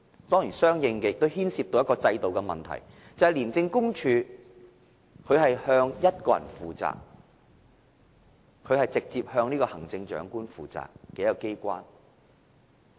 當然，這亦相應地牽涉制度上的問題，就是廉署是向一個人負責的，它是直接向行政長官負責的機關。